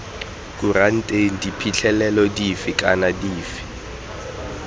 kuranteng diphitlhelelo dife kana dife